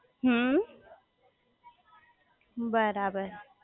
હમ્મ બરાબર